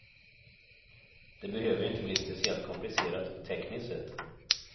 Det behöver inte bli speciellt komplicerat tekniskt sett.